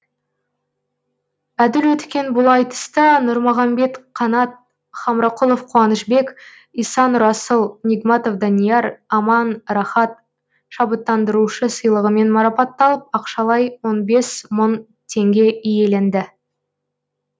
әділ өткен бұл айтыста нұрмағамбет қанат хамрақұлов қуанышбек иса нұрасыл нигматов данияр аман рахат шабыттандырушы сыйлығымен марапатталып ақшалай он бес мың теңге иеленді